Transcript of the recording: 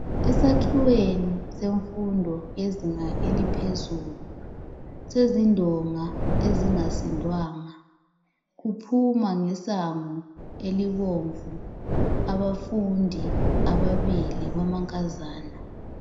Esakhiweni semfundo yezinga eliphezulu sezindonga ezingasindwanga kuphunywa ngesango elibomvu abafundi ababili bamankazana